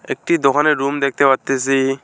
একটি দোকানের রুম দেখতে পারতেসি।